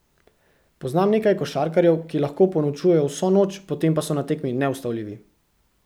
Poznam nekaj košarkarjev, ki lahko ponočujejo vso noč, potem pa so na tekmi neustavljivi.